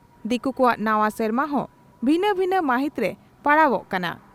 ᱫᱤᱠᱩ ᱠᱚᱣᱟᱜ ᱱᱟᱣᱟ ᱥᱮᱨᱢᱟ ᱦᱚᱸ ᱵᱷᱤᱱᱟᱹ ᱵᱷᱤᱱᱟᱹ ᱢᱟᱦᱤᱛᱨᱮ ᱯᱟᱲᱟᱣᱚᱜ ᱠᱟᱱᱟ ᱾